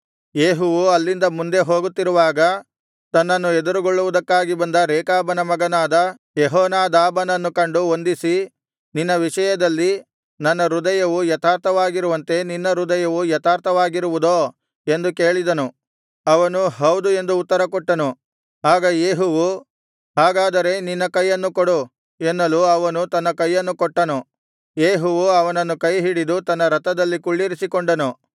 ಯೇಹುವು ಅಲ್ಲಿಂದ ಮುಂದೆ ಹೋಗುತ್ತಿರುವಾಗ ತನ್ನನ್ನು ಎದುರುಗೊಳ್ಳುವುದಕ್ಕಾಗಿ ಬಂದ ರೇಕಾಬನ ಮಗನಾದ ಯೆಹೋನಾದಾಬನನ್ನು ಕಂಡು ವಂದಿಸಿ ನಿನ್ನ ವಿಷಯದಲ್ಲಿ ನನ್ನ ಹೃದಯವು ಯಥಾರ್ಥವಾಗಿರುವಂತೆ ನಿನ್ನ ಹೃದಯವು ಯಥಾರ್ಥವಾಗಿರುವುದೋ ಎಂದು ಕೇಳಿದನು ಅವನು ಹೌದು ಎಂದು ಉತ್ತರ ಕೊಟ್ಟನು ಆಗ ಯೇಹುವು ಹಾಗಾದರೆ ನಿನ್ನ ಕೈಯನ್ನು ಕೊಡು ಎನ್ನಲು ಅವನು ತನ್ನ ಕೈಯನ್ನು ಕೊಟ್ಟನು ಯೇಹುವು ಅವನನ್ನು ಕೈಹಿಡಿದು ತನ್ನ ರಥದಲ್ಲಿ ಕುಳ್ಳಿರಿಸಿಕೊಂಡನು